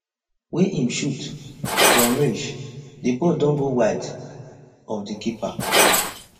wey im shoot from range di ball don go wide of di keeper